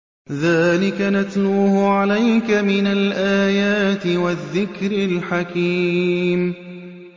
ذَٰلِكَ نَتْلُوهُ عَلَيْكَ مِنَ الْآيَاتِ وَالذِّكْرِ الْحَكِيمِ